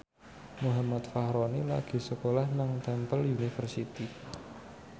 Muhammad Fachroni lagi sekolah nang Temple University